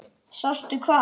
Sástu hvað?